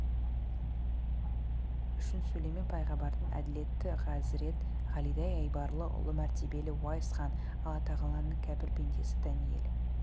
үшін сүлеймен пайғамбардай әділетті ғазірет ғалидай айбарлы ұлы мәртебелі уайс хан аллатағаланың кәпір пендесі дәниел